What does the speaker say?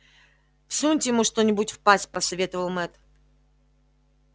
всуньте ему что нибудь в пасть посоветовал мэтт